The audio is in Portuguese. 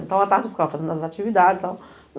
Então, a tarde eu ficava fazendo as atividades e tal.